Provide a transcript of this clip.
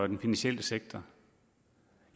den finansielle sektor